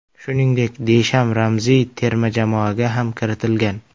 Shuningdek, Desham ramziy terma jamoaga ham kiritilgan.